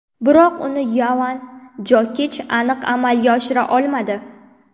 Biroq uni Yovan Jokich aniq amalga oshira olmadi.